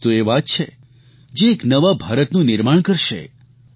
આ જ તો એ વાત છે જે એક નવા ભારતનું નિર્માણ કરશે